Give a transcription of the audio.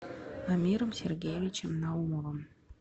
амиром сергеевичем наумовым